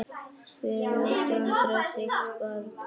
Fyrir átti Andreas eitt barn.